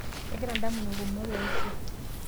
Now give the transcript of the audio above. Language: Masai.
kegira indamunot kumok eishu